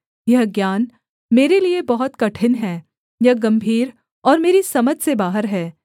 यह ज्ञान मेरे लिये बहुत कठिन है यह गम्भीर और मेरी समझ से बाहर है